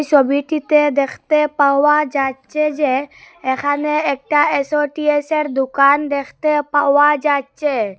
ছবিটিতে দেখতে পাওয়া যাচ্চে যে এখানে একটা এসওটিএসে র দোকান দেখতে পাওয়া যাচ্চে।